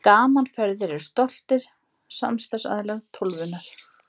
Gaman Ferðir eru stoltir samstarfsaðilar Tólfunnar.